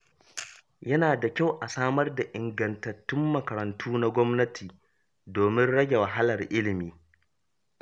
Yana da kyau a samar da ingantattun makarantu na gwamnati domin rage wahalar ilimi.